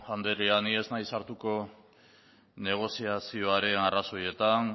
andrea ni ez naiz sartuko negoziazioaren arrazoietan